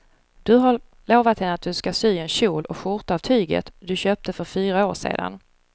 Du har lovat henne att du ska sy en kjol och skjorta av tyget du köpte för fyra år sedan.